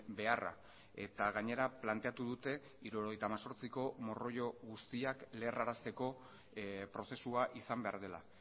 beharra eta gainera planteatu dute hirurogeita hemezortziko morroio guztiak lerrarazteko prozesua izan behar dela